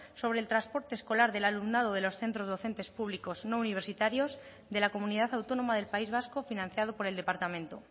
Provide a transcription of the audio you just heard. sobre el transporte escolar del alumnado de los centros docentes públicos no universitarios de la comunidad autónoma del país vasco financiado por el departamento